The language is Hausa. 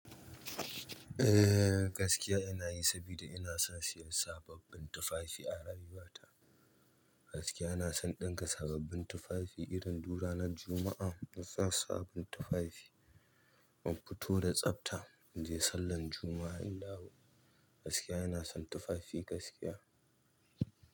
Ehh, gaskiya ina yi sabida ina son siyan sababbin tufafi a rayuwata. Gaskiya ina son ɗinka sababbin tufafi irin duk ranar Juma'a. Ina son sabon tufafi, nafito da tsafta inje sallan Juma'a. In dawo. Gaskiya ina son tufafi gaskiya.